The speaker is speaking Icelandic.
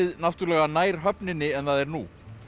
náttúrlega nær höfninni en það er nú